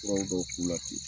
turanw bɔ o k'u la ten